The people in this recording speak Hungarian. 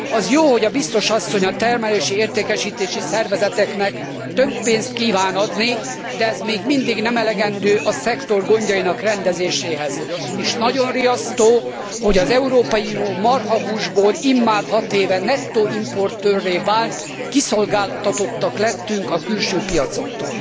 Az jó, hogy a biztos asszony, a termelési értékesítési szervezeteknek több pénzt kíván adni, de ez még mindig nem elegendő a szektor gondjainak rendezéséhez, és nagyon riasztó, hogy az Európai Unió marhahúsból immár hat éve nettó importőrré vált, kiszolgáltatottak lettünk a külső piacoknak.